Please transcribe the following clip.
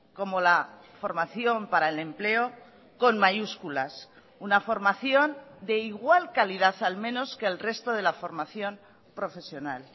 como la formación para el empleo con mayúsculas una formación de igual calidad al menos que el resto de la formación profesional